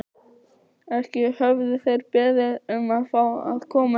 Ekki höfðu þeir beðið um að fá að koma hingað.